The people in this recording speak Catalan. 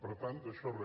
per tant d’això re